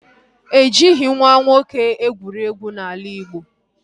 E jighị nwa nwoke egwuregwu n'ala Igbo